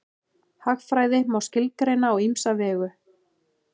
Hagfræði má skilgreina á ýmsa vegu.